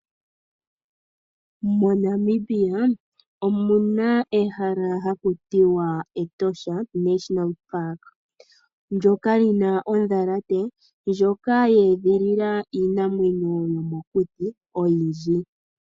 MoNamibia omuna ehala haku tiwa Etosha National Park ndyoka li na ondhalate, ndjoka ya edhilila iinamwenyo yomokuti oyindji.